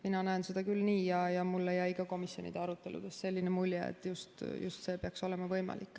Mina näen seda küll nii ja mulle jäi ka komisjoni aruteludes selline mulje, et see peaks olema võimalik.